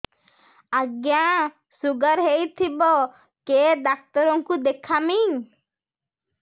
ଆଜ୍ଞା ଶୁଗାର ହେଇଥିବ କେ ଡାକ୍ତର କୁ ଦେଖାମି